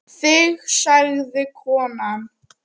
Þig sagði konan.